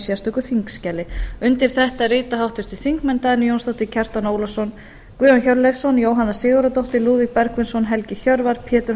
sérstöku þingskjali undir þetta rita háttvirtir þingmenn dagný jónsdóttir kjartan ólafsson guðjón hjörleifsson jóhanna sigurðardóttir lúðvík bergvinsson helgi hjörvar pétur